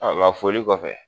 foli kɔfɛ